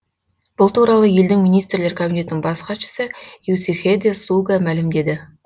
бұл туралы елдің министрлер кабинетінің бас хатшысы е сихидэ суга мәлімдеді